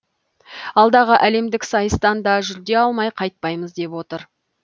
алдағы әлемдік сайыстан да жүлде алмай қайтпаймыз деп отыр